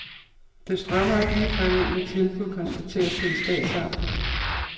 Det strømmer ikke ligefrem ind med tilbud, konstateres det i statsamtet.